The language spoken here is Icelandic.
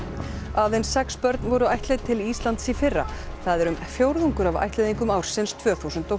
aðeins sex börn voru ættleidd til Íslands í fyrra það er um fjórðungur af ættleiðingum ársins tvö þúsund og